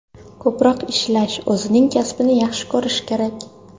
Ko‘proq ishlash, o‘zining kasbini yaxshi ko‘rish kerak.